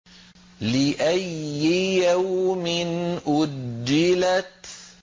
لِأَيِّ يَوْمٍ أُجِّلَتْ